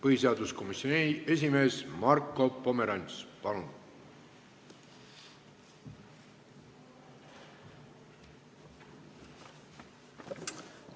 Põhiseaduskomisjoni esimees Marko Pomerants, palun!